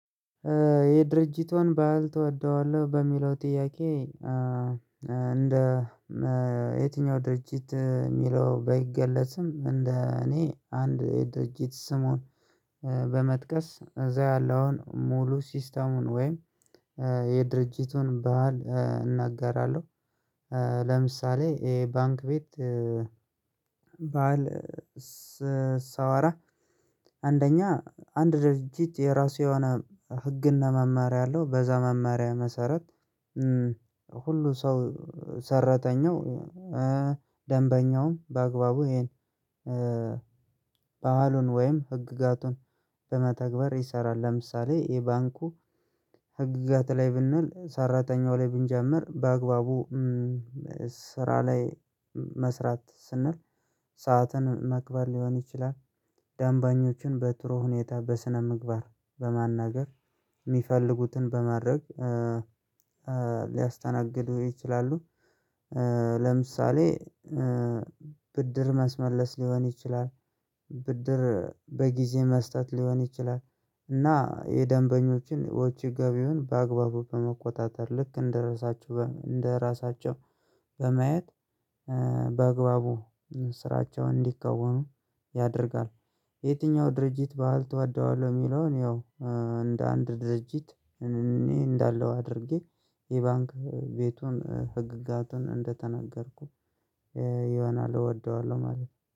የድርጅቱን ባህል ትወደዋለህ በሚለው ጥያቄ እንደ የትኛው ድርጅት የሚለው ባይገለጽም እንደ እኔ አንድ ድርጅት ስሙን በመጥቀስ እዛ ያለውን ሙሉ ሲስተሙን ወይም የድርጅቱን ባህል እናገራለሁ። ለምሳሌ ይሄ ባንክ ቤት። ባህል ሳወራ አንደኛ አንድ ድርጅት የራሱ የሆነ ህግናመመሪያ አለው። በዛ መመሪያ መሰረት ሁሉ ሰው ሰረተኛው ደንበኛውም በአግባቡ ይሄን። በዋሉን ወይም ህግጋቱን በመተግበር ይሰራል። ለምሳሌ የባንኩ ህግጋት ላይ ብንል ሰራተኛው ላይ ብንጀምር በአግባቡ ስራ ላይ መስራት ስንል ሰዓትን ማክበር ሊሆን ይችላል። ደንበኞችን በጥሩ ሁኔታ በስነ ምግባር በማናገር የሚፈልጉትን በማድረግ ሊያስተናግዱ ይችላሉ። ለምሳሌ ብድር ማስመለስ ሊሆን ይችላል። ብድር በጊዜ መስጠት ሊሆን ይችላል። እና የደንበኞችን ወጪ ገቢውን በአግባቡ በመቆጣጠር ልክ እንደረሳችው እንደራሳቸው በማየት በአግባቡ ስራቸውን እንዲከውኑ ያደርጋል። የየትኛውን ድርጅት ባህል ትወደዋለህ? የሚለውን ያው እንደ አንድ ድርጅት እኔ እንዳለሁ አድርጌ የባንክ ቤቱን ህግጋቱን እንደተናገርኩ ይሆናል እወደዋለሁ ማለት ነው